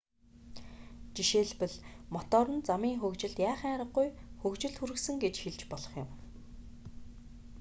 жишээлбэл мотор нь замын хөгжилд яахын аргагүй хөгжилд хүргэсэн гэж хэлж болох юм